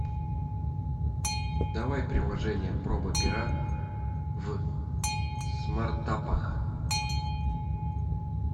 давай приложение проба пера в смартапах